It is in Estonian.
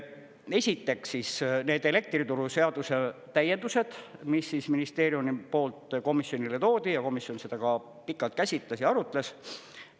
Esiteks need elektrituruseaduse täiendused, mis ministeeriumi poolt komisjonile toodi, ja komisjon seda ka pikalt käsitles ja arutles.